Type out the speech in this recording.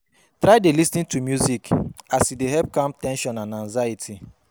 Try dey lis ten to music as e dey help calm ten sion and anxiety